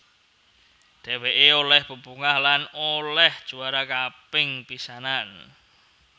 Dheweké olih bebungah lan olih juara kaping pisanan